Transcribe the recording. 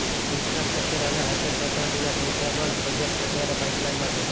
infrastructure અને high tech ટેક્નોલોજીના સંખ્યાબંધ પ્રોજેક્ટ્સ અત્યારે પાઇપલાઈનમાં છે